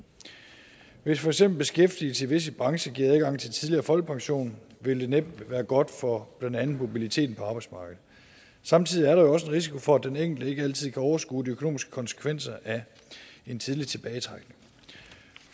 hvis for eksempel beskæftigelse i visse brancher giver adgang til tidligere folkepension vil det næppe være godt for blandt andet mobiliteten på arbejdsmarkedet samtidig er der jo også en risiko for at den enkelte ikke altid kan overskue de økonomiske konsekvenser af en tidlig tilbagetrækning